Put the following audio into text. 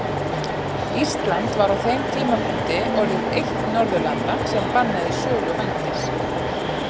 Ísland var á þeim tímapunkti orðið eitt Norðurlanda sem bannaði sölu vændis.